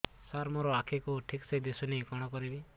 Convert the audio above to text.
ସାର ମୋର ଆଖି କୁ ଠିକସେ ଦିଶୁନି କଣ କରିବି